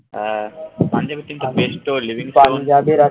হ্যাঁ পাঞ্জাব এর team তো বেশ